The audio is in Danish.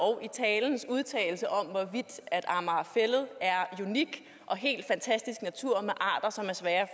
og udtalelse om hvorvidt amager fælled er unik og helt fantastisk natur med arter som er svære at